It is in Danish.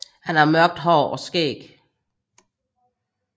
Han har mørkt hår og skæg